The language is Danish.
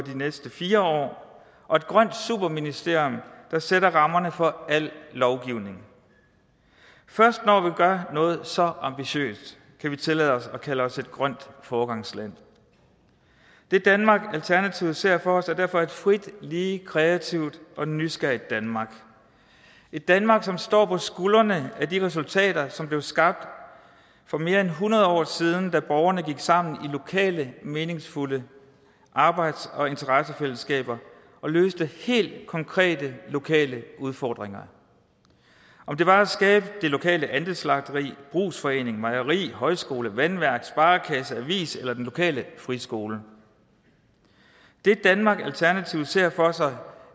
næste fire år og et grønt superministerium der sætter rammerne for al lovgivning først når vi gør noget så ambitiøst kan vi tillade os at kalde os et grønt foregangsland det danmark alternativet ser for sig er derfor et frit lige kreativt og nysgerrigt danmark et danmark som står på skuldrene af de resultater som blev skabt for mere end hundrede år siden da borgerne gik sammen i lokale meningsfulde arbejds og interessefællesskaber og løste helt konkrete lokale udfordringer om det var at skabe det lokale andelsslagteri brugsforening mejeri højskole vandværk sparekasse avis eller den lokale friskole det danmark alternativet ser for sig